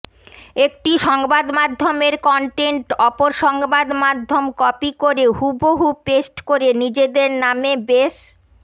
একটি সংবাদমাধ্যমের কনটেন্ট অপর সংবাদমাধ্যম কপি করে হুবহু পেস্ট করে নিজেদের নামে বেশ